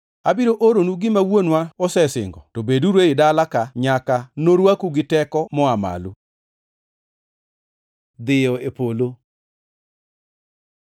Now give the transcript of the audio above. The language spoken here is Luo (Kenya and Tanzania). abiro oronu gima Wuonwa osesingo, to beduru ei dala ka nyaka norwaku gi teko moa malo.” Dhiyo e polo